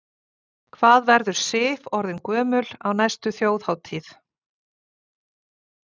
Hvað verður Sif orðin gömul á næstu Þjóðhátíð?